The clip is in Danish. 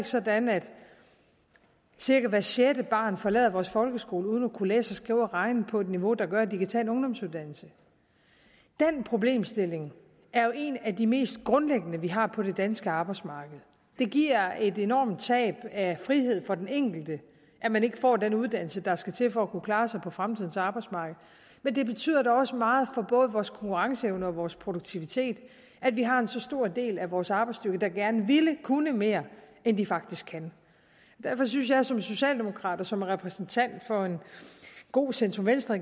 sådan at cirka hvert sjette barn forlader vores folkeskole uden at kunne læse skrive og regne på et niveau der gør at de kan tage en ungdomsuddannelse den problemstilling er en af de mest grundlæggende vi har på det danske arbejdsmarked det giver et enormt tab af frihed for den enkelte at man ikke får den uddannelse der skal til for at kunne klare sig på fremtidens arbejdsmarked men det betyder da også meget for både vores konkurrenceevne og vores produktivitet at vi har så stor en del af vores arbejdsstyrke der gerne ville kunne mere end de faktisk kan derfor synes jeg som socialdemokrat og som repræsentant for en god centrum venstre